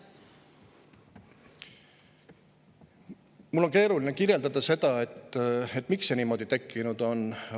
Mul on keeruline kirjeldada seda, miks see niimoodi läinud on.